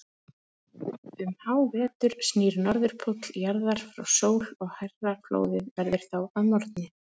Um hávetur snýr Norðurpóll jarðar frá sól og hærra flóðið verður þá að morgni.